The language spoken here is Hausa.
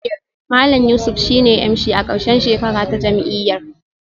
Malam Yusuf shine MC a karshen shekara ta jam'iyyar